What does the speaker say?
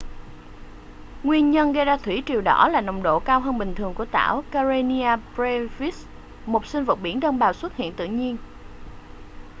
nguyên nhân gây ra thủy triều đỏ là nồng độ cao hơn bình thường của tảo karenia brevis một sinh vật biển đơn bào xuất hiện tự nhiên